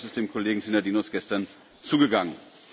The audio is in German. Der Beschluss ist dem Kollegen Synadinos gestern zugegangen.